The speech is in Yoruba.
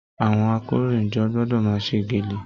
Àwọn àkòróyinjọ́ gbọdọ máa ṣe gẹ́lẹ́.